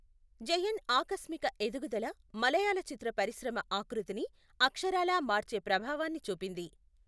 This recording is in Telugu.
జయన్ ఆకస్మిక ఎదుగుదల మలయాళ చిత్ర పరిశ్రమ ఆకృతిని అక్షరాలా మార్చే ప్రభావాన్ని చూపింది.